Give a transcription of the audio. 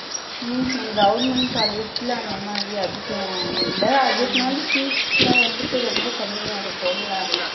உம் உம் government college ல அந்த மாதிரி அதிகம் இல்ல அதே மாதிரி seats எல்லாம் வந்துட்டு ரொம்ப கம்மியா இருக்கும்ல